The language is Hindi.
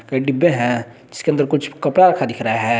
कई डिब्बे हैं जिसके अंदर कुछ कपड़ा रखा दिख रहा है।